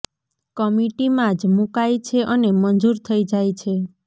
કમિટીમાં જ મુકાય છે અને મંજૂર થઇ જાય છે